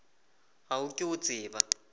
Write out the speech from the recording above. ga o ke o tseba